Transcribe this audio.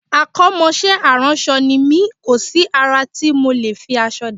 Akọ́mọṣẹ́ aránṣọ ni mí, kò sí àrà tí mi ò lè fi aṣọ dá